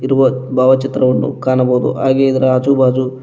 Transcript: ಇರುವ ಭಾವಚಿತ್ರವನ್ನು ಕಾಣಬಹುದು ಹಾಗೆ ಇದರ ಆಜು ಬಾಜು--